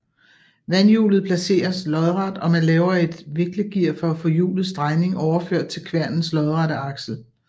Vandhjulet placeres lodret og man laver et viklegear for at få hjulets drejning overført til kværnens lodrette aksel